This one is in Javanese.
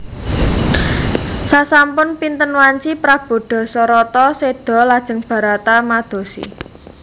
Sasampun pinten wanci prabu Dasarata séda lajeng Barata madosi